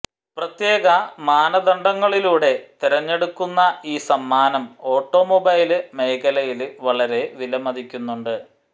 പ്രത്യേക മാനദണ്ഡങ്ങളിലൂടെ തെരഞ്ഞെടുക്കുന്ന ഈ സമ്മാനം ഓട്ടോമൊബൈല് മേഖലയില് വളരെ വിലമതിക്കുന്നുണ്ട്